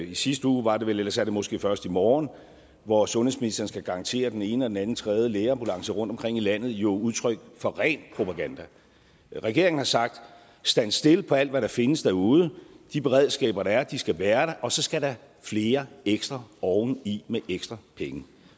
i sidste uge var det vel ellers er det måske først i morgen hvor sundhedsministeren skal garantere den ene og den anden tredje lægeambulance rundtomkring i landet jo udtryk for ren propaganda regeringen har sagt standstill på alt hvad der findes derude de beredskaber der er skal være der og så skal der flere ekstra oveni med ekstra penge